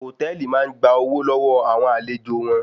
Hòtẹ́ẹ̀lì máa ń gba owó lọ́wọ́ àwọn àlejò wọn